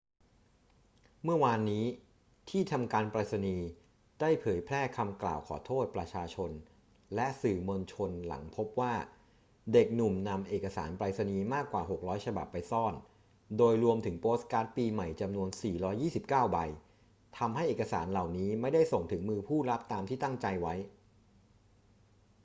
เมื่อวานนี้ ที่ทำการไปรษณีย์ได้เผยแพร่คำกล่าวขอโทษประชาชนและสื่อมวลชนหลังพบว่าเด็กหนุ่มนำเอกสารไปรษณีย์มากกว่า 600 ฉบับไปซ่อน โดยรวมถึงโปสการ์ดปีใหม่จำนวน 429 ใบ ทำให้เอกสารเหล่านี้ไม่ได้ส่งถึงมือผู้รับตามที่ตั้งใจไว้